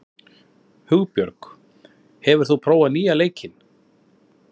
Hugbjörg, hefur þú prófað nýja leikinn?